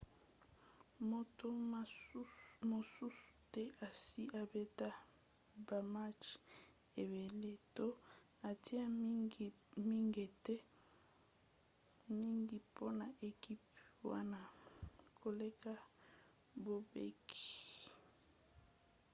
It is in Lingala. moto mosusu te asi abeta bamatch ebele to atia mingete mingi mpona ekipe wana koleka bobek